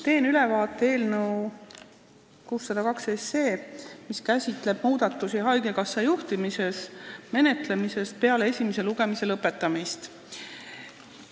Teen ülevaate eelnõu 602, mis käsitleb muudatusi haigekassa juhtimises, menetlemisest peale esimese lugemise lõpetamist.